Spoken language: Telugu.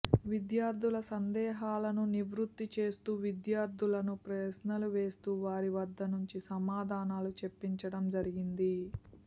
విద్యార్థుల సందేహాలను నివృత్తి చేస్తూ విద్యార్థులను ప్రశ్నలు వేస్తూ వారి వద్ద నుంచి సమాధానాలు చెప్పించడం జరిగింది